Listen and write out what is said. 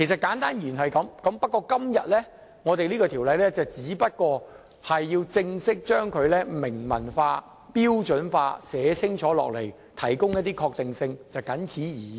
簡單而言是這樣，今天我們只是正式將之明文化，標準化，寫清楚，提供一些確定性，謹此而已。